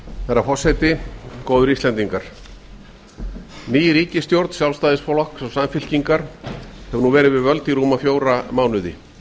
herra forseti góðir íslendingar ný ríkisstjórn sjálfstæðisflokks og samfylkingar hefur nú verið við völd í rúma fjóra mánuði